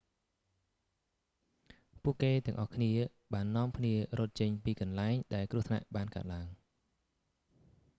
ពួកគេទាំងអស់គ្នាបាននាំគ្នារត់ចេញពីកន្លែង ដែលគ្រោះថ្នាក់បានកើតឡើង